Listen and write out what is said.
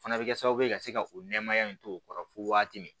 Fana bɛ kɛ sababu ye ka se ka o nɛmaya in to o kɔrɔ fo waati min